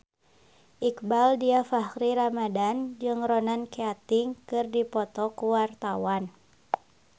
Iqbaal Dhiafakhri Ramadhan jeung Ronan Keating keur dipoto ku wartawan